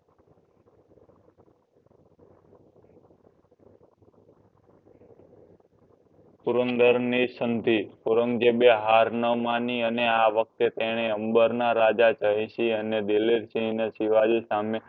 પુરંદર ની સમધી ઔરંગઝેબ એ હાર ન માની અને આ વખતે તને અંબર ના રાજા જયસિંઘ અને દિલીપસિંઘ ને શિવજીઓ સામે